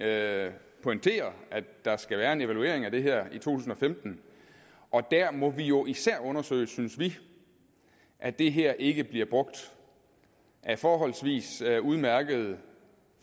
at der skal være en evaluering af det her i to tusind og femten og der må vi jo især undersøge synes vi at det her ikke bliver brugt af forholdsvis udmærkede